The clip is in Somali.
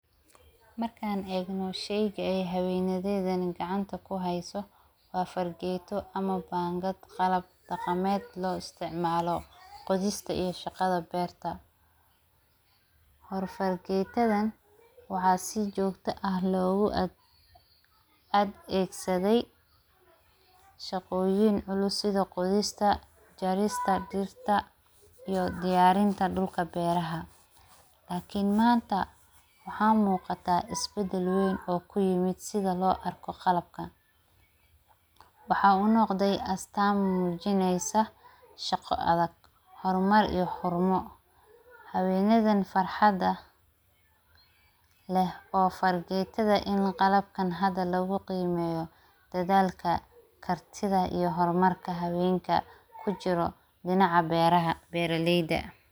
markaan eeg noo shayga ay habeenadeed gacanta ku hayso waa fargeeto ama baangad qalab taqameed lo isticmaalo qodista iyo shaqada beerta hor fargeetadan waxaa si joogto ah loogu ad ad eegsaday shaqooyin culusida qodista, jarista, dhirta iyo diyaarinta dhulka beeraha. Laakiin maanta waxaa muuqata isbedelweyn oo ku yimid sida loo arko qalabkan. Waxaa u noqday astaamajineysa, shaqo, adag, hormar iyo xormo habeenadan farxadda leh oo fargeetada in qalabkan hadda lagu qiimeeyo dadaalka, kartida iyo hormarka habeenka ku jiro dhinaca beeraha beeraleyda.